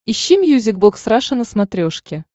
ищи мьюзик бокс раша на смотрешке